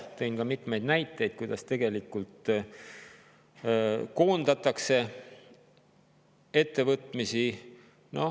Tõin ka mitmeid näiteid, kuidas tegelikult koondatakse ettevõtmisi.